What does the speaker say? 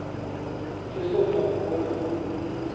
Christoffer Kvåle